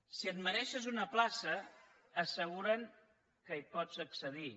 si et mereixes una plaça asseguren que hi pots accedir